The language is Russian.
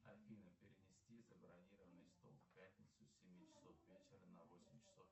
афина перенести забронированный стол в пятницу с семи часов вечера на восемь часов